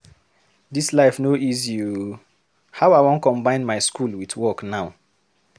Dis life no easy o! How I wan combine my school with work now?